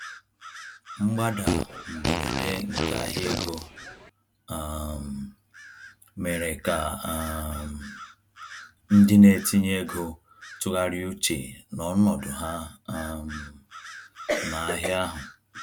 Mgbada mberede nke ahịa ego um mere ka um ndị na-etinye ego tụgharịa uche na ọnọdụ ha um n'ahịa ahụ.